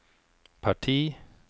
parti